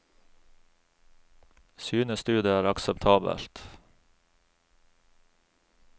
Synes du det er akseptabelt?